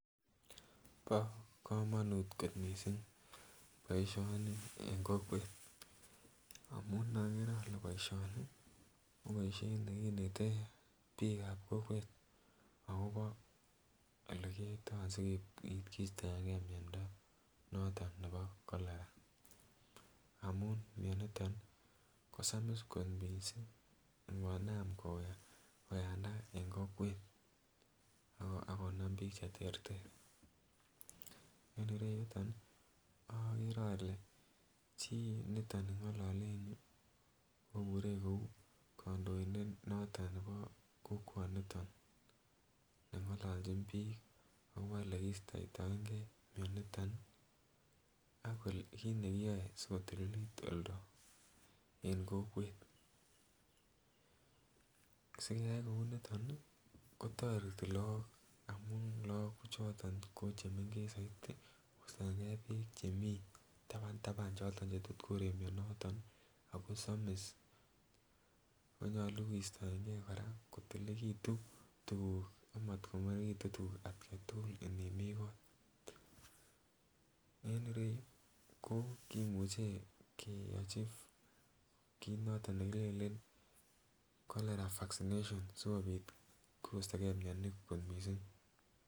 Bo komonut kot missing boishoni en kokwet amun okere ole boishoni ko boishet nekinete bik ab kokwet akobo ole kiyoito asipit kistoengee miondo noton nebo cholera amun mioniton nii kosamis kot missing ngonam koyanda en kokwet akonam bik cheterter,. En ireyuton nii okere ole chii niton ningolole en yuu kobure kou kondoindet noton nebo kokwoniton nengololjin bik akobo ole kistotoen gee mioniton akole kit nekiyoe sikotulilit oldoo en kokwet. Sikeyai kou niton nii kotoreti Lok amun lok kochoton ko chemengech soiti kostoengee beek chemii tapan tapan choton chetot korek mioniton nii ako somis ako nyolu kistoen gee Koraa kotililekitun tukuk amat kongoritun tukuk atgai tukul inimii koo, en ireyuu ko kimuche keyochi kit noton nekilelen cholera vaccination sikopit kostogee mioni kot missing.